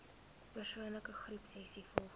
persoon groepsessies volgens